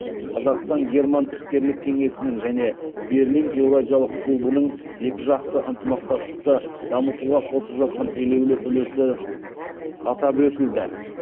қазақстан герман іскерлік кеңесінің және берлин еуразиялық клубының екіжақты ынтымақтастықты дамытуға қосып жатқан елеулі үлесі атап өтілді